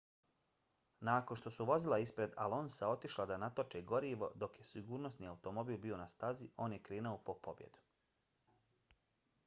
nakon što su vozila ispred alonsa otišla da natoče gorivo dok je sigurnosni automobil bio na stazi on je krenuo po pobjedu